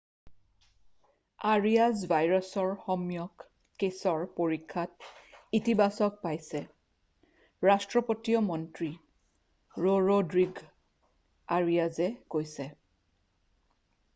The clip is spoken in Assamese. আৰিয়াজ ভাইৰাছৰ সম্যক কেছৰ পৰীক্ষাত ইতিবাচক পাইছে ৰাষ্ট্ৰপতিয় মন্ত্ৰী ৰৰʼড্ৰিগʼ আৰিয়াজে কৈছে।